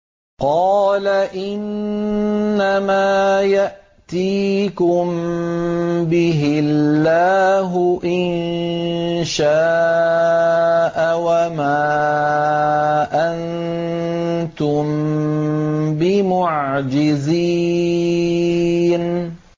قَالَ إِنَّمَا يَأْتِيكُم بِهِ اللَّهُ إِن شَاءَ وَمَا أَنتُم بِمُعْجِزِينَ